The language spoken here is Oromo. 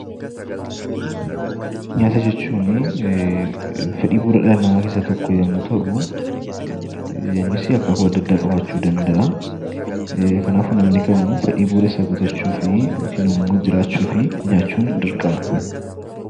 Nyaata jechuun fedhii bu'uura dhala namaa keessaa tokko yommuu ta'u, innis akaakuu adda addaa qabaachuu danda’a. Kanaafuu namni kamuu fedhii bu'uura isaa guuttachuuf nyaachuun dirqama.